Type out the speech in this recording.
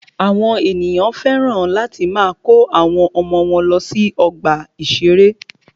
Àwọn ènìyàn féràn láti máa kó àwọn ọmọ wọ́n lọ sí ọgbà ìṣẹ̀rẹ́.